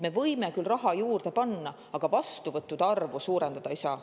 Me võime küll raha juurde panna, aga vastuvõttude arvu suurendada ei saa.